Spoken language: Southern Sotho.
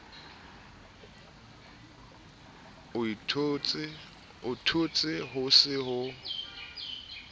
o itshole ho se ho